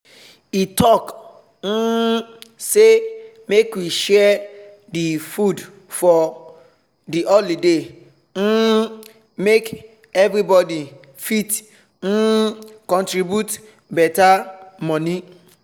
he talk um say make we share the food for the holiday um make everybody fit um contribute better money